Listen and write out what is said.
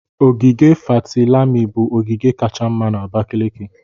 ogige Fatilami bụ ogige kacha mma na Abakaliki.